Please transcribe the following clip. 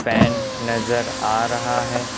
Fan नजर आ रहा है।